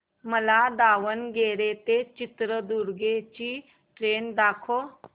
मला दावणगेरे ते चित्रदुर्ग ची ट्रेन दाखव